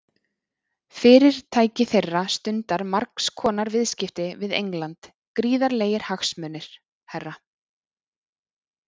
Fyrirtæki þeirra stundar margs konar viðskipti við England, gríðarlegir hagsmunir, herra.